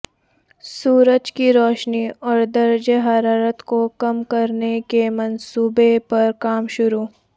سورج کی روشنی اور درجہ حرارت کو کم کرنے کے منصوبے پر کام شروع